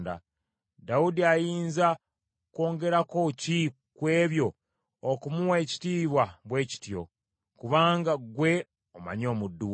“Dawudi ayinza kwongerako ki ku ebyo okumuwa ekitiibwa bwe kityo, kubanga ggwe omanyi omuddu wo.